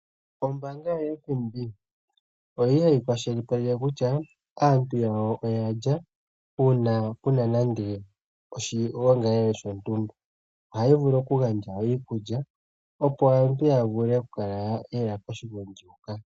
Ombanga yoFNB oyili yakwashili paleke kutya aantu yawo oyalya, uuna kuna nande oshigongalele shontumba. Hayi vulu okugandja nande iikulya, opo aantu yavulu okukala yaya koshigongi shoka.